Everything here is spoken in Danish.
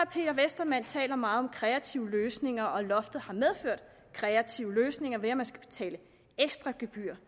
peter westermann talt meget om kreative løsninger og at loftet har medført kreative løsninger ved at man skal betale ekstra gebyr